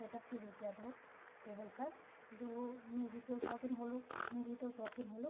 सेटअप किर्युं च अपडू टेबल पर जू म्यूजिक शौक़ीन होलू संगीत शौक़ीन होलू।